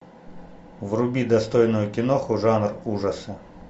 вруби достойную киноху жанр ужасы